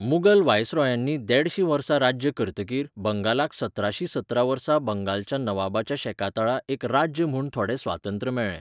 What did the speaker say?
मुगल व्हायसरॉयांनी देडशीं वर्सां राज्य करतकीर बंगालाक सतराशीं सतरा वर्सा बंगालच्या नवाबाच्या शेकातळा एक राज्य म्हूण थोडें स्वातंत्र्य मेळ्ळें.